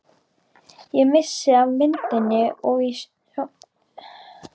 Ég missi af myndinni í sjónvarpinu og.